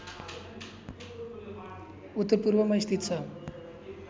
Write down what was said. उत्तरपूर्वमा स्थित छ